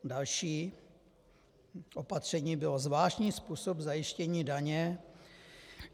Další opatření bylo zvláštní způsob zajištění daně.